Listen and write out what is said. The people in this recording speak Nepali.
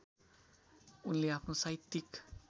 उनले आफ्नो साहित्यिक